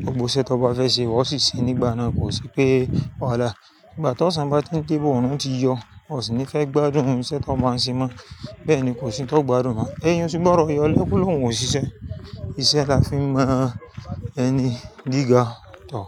Gbogbo iṣẹ tó bá fẹ́ ṣe, ó sì ṣe nígbà náà kò sí pé wahala. Ìgbà tí ọ̀sán bá ti n de bọ̀, oorún ti yọ, o sì ní fẹ́ gbádùn isẹ tí ọ bá ń ṣe mọ́. Bẹ́ẹ̀ ni kò sí n to gbádùn mọ́. Eyin o si gbọ́dọ yọlẹ, ko lóhùn o ṣiṣẹ́. Iṣẹ́ la fi n mọ ẹni gíga tọ̀